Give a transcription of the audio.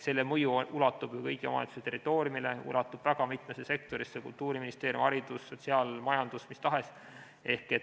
Selle mõju ulatub ju kõigi omavalitsuste territooriumile, ulatub väga mitmesse sektorisse: Kultuuriministeeriumi sektor, haridus, sotsiaalsektor, majandus, mis tahes.